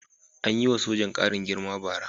An yi wa sojan ƙarin girma bara.